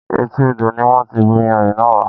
Etí odò ni wọn ti bù iyanrìn náà wá.